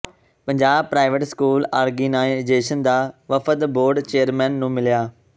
Punjab private school organisation ਦਾ ਵਫ਼ਦ board chairman ਨੂੰ ਮਿਲਿਆ